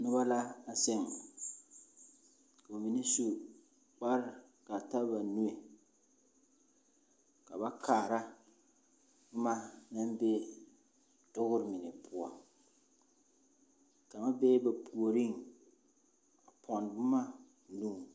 Noba la a zeŋ. Ka ba mine su kpar kaa ta ba nue. Ka ba kaara boma naŋ be dogr mine poɔ. Kaŋa bee ba puoriŋ a ponne boma o nuŋ.